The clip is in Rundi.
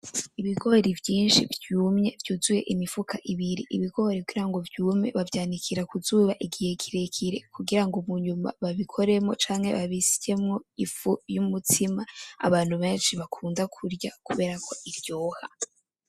Ibigori vyinshi vyumye vyuzuye imifuka ibiri. Ibigori kugirango vyume bavyanikira ku zuba igihe kirekire kugirango munyuma babikoremwo canke babisyemwo ifu y'umutsima abantu benshi bakunda kurya kuberako iryoha.